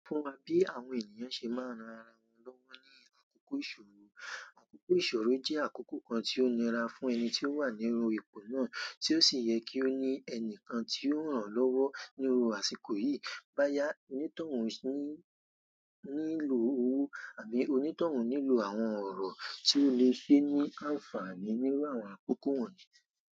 Sọ fún wa bí àwọn ènìyàn ṣe máa ń ran ara wọn lọ́wọ́ ní àkókò ìṣòro. Àkókò ìṣòro jẹ́ àkókò kan tí ó nira fún ẹni tí ó wà níru èpò náà, tí ó sì yẹ kí ó ní ẹnìkan tí yóò ran lọ́wọ́ níru àsìkò yìí. Báyà, onítọ̀hún nílò owó àbí onítọ̀hún nílò àwọn ọ̀rọ̀ tí ó lè ṣe ní àǹfààní níru àwọn àkókò wọ̀nyí.